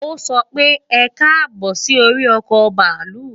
O so pe, ekabo si ori oko baalu.